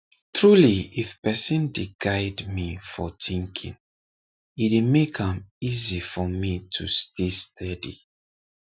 truly if person dey guide me for thinking e dey make am easy for me to stay steady